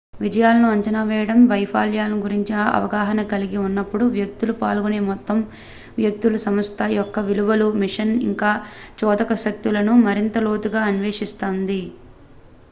విజయాలను అంచనా వేయడం వైఫల్యాల గురించి అవగాహన కలిగి ఉన్నప్పుడు వ్యక్తులు పాల్గొనే మొత్తం వ్యక్తులు సంస్థ యొక్క విలువలు మిషన్ ఇంకా చోదక శక్తులను మరింత లోతుగా అన్వేషిస్తుంది